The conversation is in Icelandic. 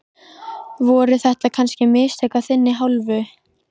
Voru þetta kannski mistök af þinni hálfu?